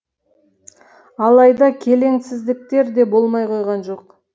алайда келеңсіздіктер де болмай қойған жоқ